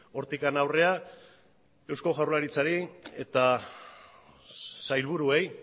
hortik aurrera eusko jaurlaritzari eta sailburuei